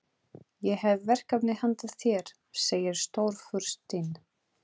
Ég hef verkefni handa þér segir Stórfurstinn.